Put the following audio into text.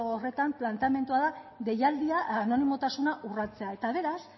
horretan planteamendua da deialdia anonimotasuna urratzea eta beraz